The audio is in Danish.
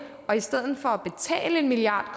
og i stedet for at betale en milliard